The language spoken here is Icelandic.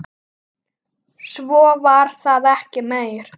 Svo var það ekki meir.